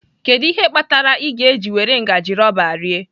Kedu ihe kpatara ị ga-eji were ngaji rọba rie?